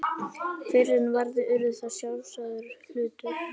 Fyrr en varði urðu þær sjálfsagður hlutur.